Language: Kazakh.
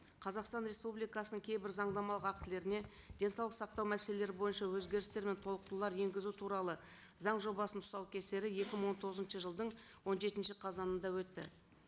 қазақстан республикасының кейбір заңнамалық актілеріне денсаулық сақтау мәселелері бойынша өзгерістер мен толықтырулар енгізу туралы заң жобасының тұсау кесері екі мың он тоғызыншы жылдың он жетінші қазанында өтті